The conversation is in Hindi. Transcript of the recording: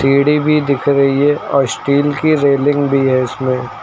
सीढ़ी भी दिख रही है और स्टील की रेलिंग भी है इसमें--